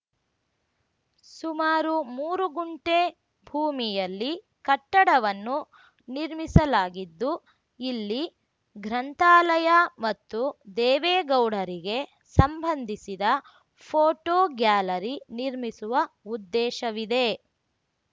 ಸುಮಾರು ಮೂರು ಗುಂಟೆ ಭೂಮಿಯಲ್ಲಿ ಕಟ್ಟಡವನ್ನು ನಿರ್ಮಿಸಲಾಗಿದ್ದು ಇಲ್ಲಿ ಗ್ರಂಥಾಲಯ ಮತ್ತು ದೇವೇಗೌಡರಿಗೆ ಸಂಬಂಧಿಸಿದ ಫೋಟೋ ಗ್ಯಾಲರಿ ನಿರ್ಮಿಸುವ ಉದ್ದೇಶವಿದೆ